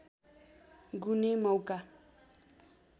गुने मौका